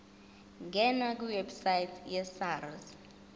ngena kwiwebsite yesars